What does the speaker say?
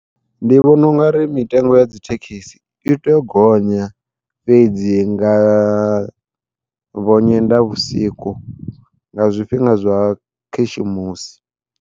Ndi vhona ungari mitengo ya dzithekhisi i tea u gonya, fhedzi nga vho Nyendavhusiku nga zwifhinga zwa khishimusi.